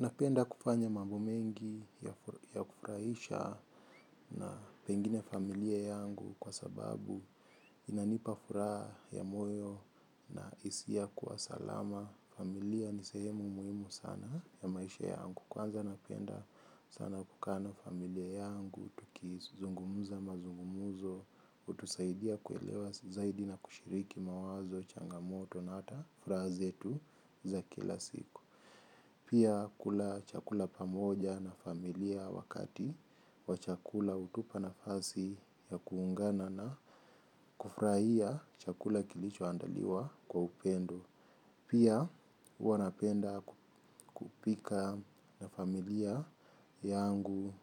Napenda kufanya mambo mengi ya kufurahisha na pengine familia yangu kwa sababu inanipa furaha ya moyo na hisia ya kuwa salama. Familia ni sehemu muhimu sana ya maisha yangu. Kwanza napenda sana kukaa na familia yangu, tukizungumza mazungumzo, utusaidia kuelewa, zaidi na kushiriki mawazo, changamoto na hata furaha zetu za kila siku. Pia kula chakula pamoja na familia wakati wa chakula hutupa nafasi ya kuungana na kufurahia chakula kilicho andaliwa kwa upendo. Pia huwa napenda kupika na familia yangu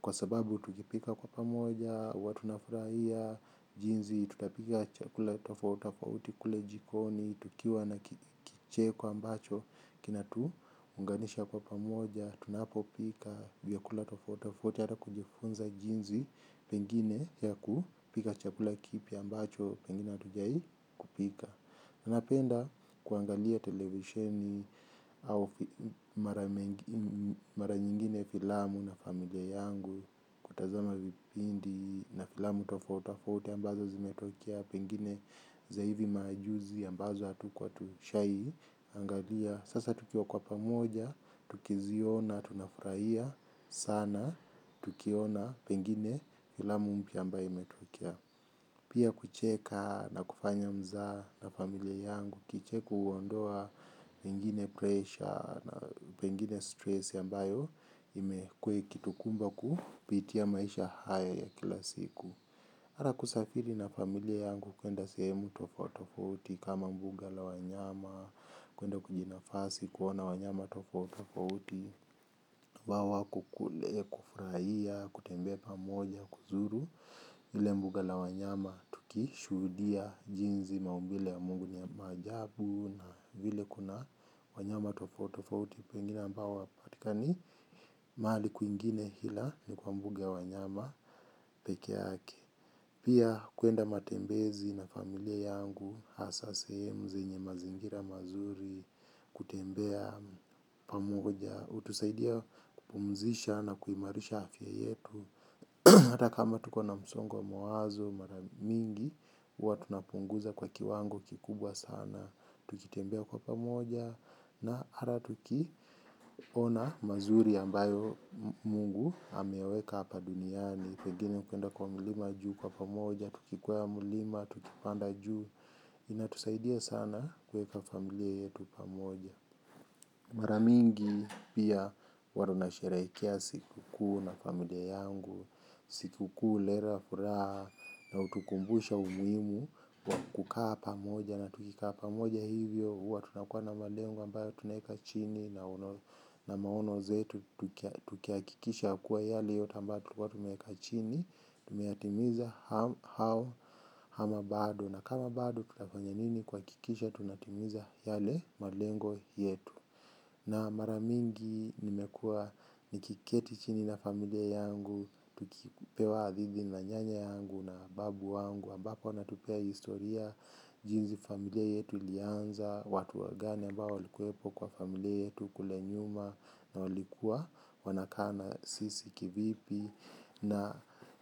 kwa sababu tukipika kwa pamoja, huwa tunafurahia, jinzi, tutapika chakula tofauti tofauti i kule jikoni, tukiwa na kicheko ambacho, kinatu unganisha kwa pamoja, tunapopika, vyakula tofauti tofauti hata kujifunza jinsi pengine ya kupika chakula kipya ambacho pengine hatujawahi kupika. Napenda kuangalia televisheni au mara nyingine filamu na familia yangu kutazama vipindi na filamu tofauti tofauti ambazo zimetokea pengine za hivi maajuzi ambazo hatukuwa tushawahi. Angalia sasa tukiwa kwa pamoja, tukiziona, tunafurahia sana, tukiona pengine filamu mpya ambayo imetokea. Pia kucheka na kufanya mzaha na familia yangu kicheko huondoa pengine pressure na pengine stress ambayo imekua ikitukumba kupitia maisha haya ya kila siku. Ata kusafiri na familia yangu kuenda sehemu tofauti tofauti kama mbuga la wanyama, kuenda kujinafasi, kuona wanyama tofauti tofauti, ambao wako kule, kufurahia, kutembea pamoja, kuzuru, ile mbuga la wanyama tukishuhudia jinsi maumbile ya mungu ni ya maajabu na vile kuna wanyama tofauti tofauti. Wengine ambao hawpatikani mahali kwingine ila ni kwa mbuga ya wanyama peke yake. Pia kuenda matembezi na familia yangu, hasa seehmu, zenye mazingira mazuri, kutembea pamoja, hutusaidia kupumzisha na kuimarisha afya yetu. Hata kama tuko na msongo wa mawazo mara mingi huwa tunapunguza kwa kiwango kikubwa sana. Tukitembea kwa pamoja na hata tukiona mazuri ambayo mungu ameweka hapa duniani. Pengine kuenda kwa mlima juu kwa pamoja, tukikwea mlima, tukipanda juu, inatusaidia sana kuweka familia yetu pamoja. Maramingi pia huwa tuna sherehekea siku kuu na familia yangu, siku kuu huleta furaha na hutukumbusha umuhimu wa kukaa pamoja. Na tukikaa pamoja hivyo huwa tunakua na malengo ambayo tunaweka chini na maono zetu tukihakikisha kuwa yale yote ambayo tulikua tumeweka chini tumeyatimiza au ama bado na kama bado tutafanya nini kuhakikisha tunatimiza yale malengo yetu. Na maramingi nimekua nikiketi chini na familia yangu tukipewa hadithi na nyanya yangu na babu wangu ambapo anatupea historia jinsi familia yetu ilianza. Watu wagani ambao walikuwepo kwa familia yetu kule nyuma na walikuwa wanakaa na sisi kivipi.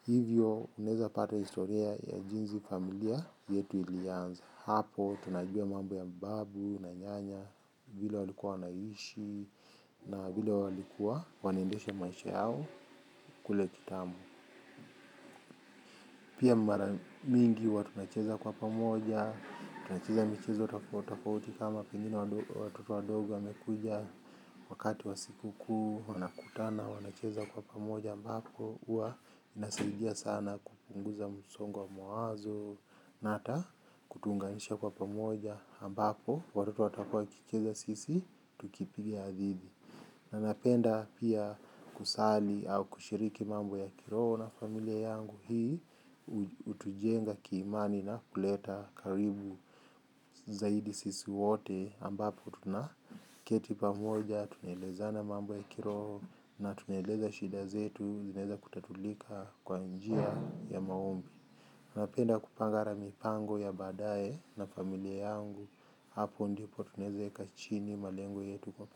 Hivyo unaeza pata historia ya jinsi familia yetu ilianza. Hapo tunajua mambo ya babu na nyanya vile walikuwa wanaishi na vile walikuwa wana endesha maisha yao kule kitambo. Pia mara mingi huwa tunacheza kwa pamoja, tunacheza michezo tofauti tofauti kama pengine watoto wadogo wamekuja wakati wa siku kuu, wanakutana, wanacheza kwa pamoja ambapo, huwa inasaidia sana kupunguza msongo wa mawazo, na hata kutuunganisha kwa pamoja ambapo, watoto watakuwa wakicheza sisi, tukipiga hadithi. Na napenda pia kusali au kushiriki mambo ya kiroho na familia yangu hii hutujenga kiimani na kuleta karibu zaidi sisi wote ambapo tuna keti pamoja tunaeleza na mambo ya kiroho na tunaeleza shida zetu zinaeza kutatulika kwa njia ya maombi. Napenda kupanga hata mipango ya baadaye na familia yangu hapo ndipo tunaweza weka chini malengo yetu kwa.